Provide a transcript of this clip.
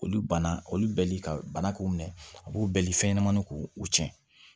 Olu bana olu bɛli ka bana k'u minɛ a b'u bali fɛn ɲɛnamaninw k'u u tiɲɛ